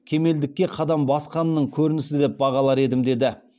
кемелдікке қадам басқанының көрінісі деп бағалар едім деді